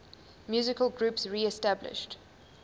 musical groups reestablished